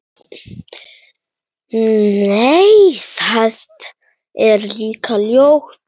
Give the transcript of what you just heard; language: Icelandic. Nei, það er líka ljótt.